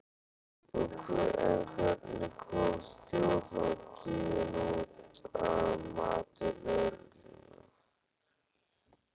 En hvernig kom þjóðhátíðin út, að mati lögreglunnar?